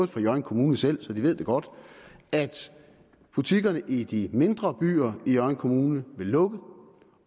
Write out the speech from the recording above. for hjørring kommune selv viser så de ved det godt at butikkerne i de mindre byer i hjørring kommune vil lukke